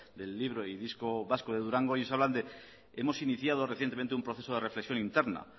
del libro y disco vasco de durango y ellos hablan de hemos iniciado recientemente un proceso de reflexión interna